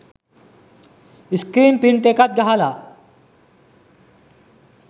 screen print එකක් ගහලා